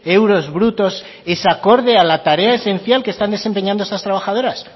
euros brutos es acorde a la tarea esencial que están desempeñando estas trabajadoras